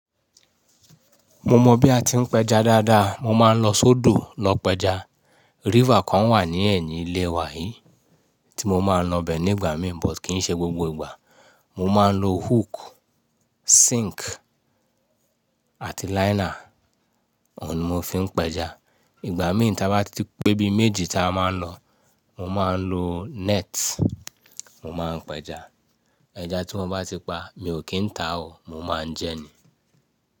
Mo mọ bí a ti ń pẹja dáadáa, mo máa ń lọ sódò lọ pa ẹja ríver kan wà ní ẹ̀yìn ilé wa yìí tí mo máa ń lọ ibẹ nígbà mí but kí n ṣe gbogbo ìgbà. Mo máa ń lo hook, sink àti liner, ọ̀ùn ni mo fi ń pẹja. Ìgbà mìíràn tí a bá ti pé bí méjì ta máa ń lọ, mo máa ń lo net, mo máa ń pẹja. Ẹja tí mo bá sì pa, mi ò kí ń tà o mo máa ń jẹ ni.